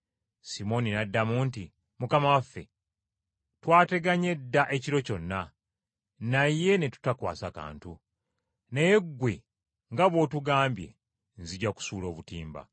Simooni n’addamu nti, “Mukama waffe, twateganye dda ekiro kyonna, naye ne tutakwasa kantu. Naye ggwe nga bw’otugambye, nzija kusuula obutimba.”